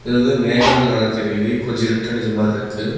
இது வந்து மேகோ வந்து நல்லா தெரியிது கொஞ்ஜோ இருட்டடிஞ்ச மாருக்கு.